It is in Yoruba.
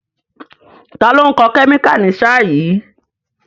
Ta ló ń kọ́ kẹ́míkà ní sáà yìí?